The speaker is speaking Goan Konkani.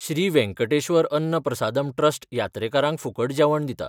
श्री वेंकटेश्वर अन्न प्रसादम ट्रस्ट यात्रेकारांक फुकट जेवण दिता.